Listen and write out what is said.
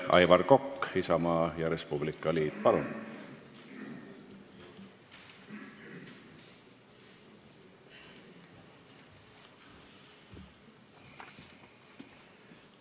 Aivar Kokk, Isamaa ja Res Publica Liit, palun!